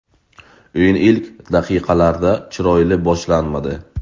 O‘yin ilk daqiqalarda chiroyli boshlanmadi.